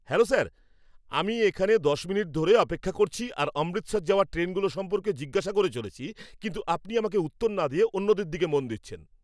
Hello sir! আমি এখানে দশ মিনিট ধরে অপেক্ষা করছি আর অমৃতসর যাওয়ার ট্রেনগুলো সম্পর্কে জিজ্ঞাসা করে চলেছি কিন্তু আপনি আমাকে উত্তর না দিয়ে অন্যদের দিকে মন দিচ্ছেন।